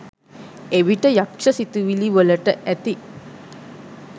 එවිට යක්ෂ සිතිවිලි වලට ඇති